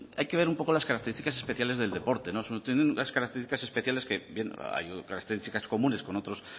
hay que ver un poco las características especiales del deporte son unas características especiales que bien hay otras características comunes con otros